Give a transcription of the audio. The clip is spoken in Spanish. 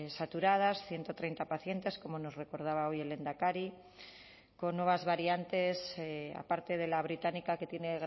saturadas ciento treinta pacientes como nos recordaba hoy el lehendakari con nuevas variantes aparte de la británica que tiene